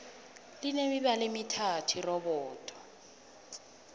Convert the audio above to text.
line mibala emithathu irobodo